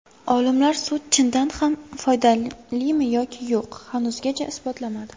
Olimlar sut chindan ham foydalimi yoki yo‘q, hanuzgacha isbotlamadi.